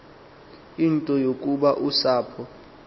into yokuba usapho